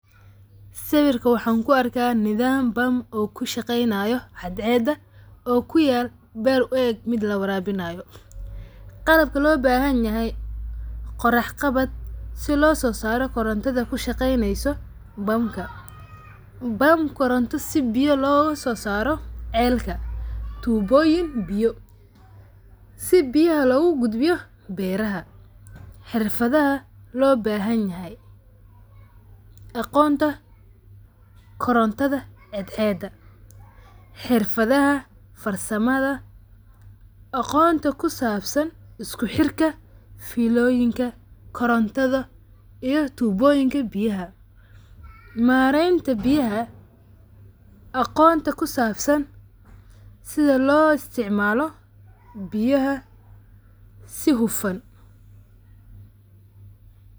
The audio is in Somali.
Sawirka waxaan ku arka nidham pump oo kushaqeynayo caadceeda oo kuyalo meel uu eek mid lawarabinayo. Qalabaka loo bahanyahay qurax qabaad sidha lososaaro korontadha ku shageynayso pump ka.pump koronta sidhi biyo logososaaro ceelka tuboyiin biyo si biyaha loga gudbiyo beeraha. Xirfadaha loo bahanyahy aqoonta korontadha xeedxeda xirfadaha farsamadha aqoonta kusaabsan isku xirka filooyinka korontadha iyo tuboyinka biyaha. Maarenta biyaha aqoonta kusabsaan sidha loo isticmalo biyaha si hufaan .